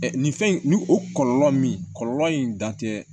nin fɛn in ni o kɔlɔlɔ min kɔlɔlɔ in dan tɛ